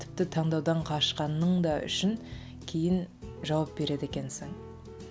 тіпті таңдаудан қашқанның да үшін кейін жауап береді екенсің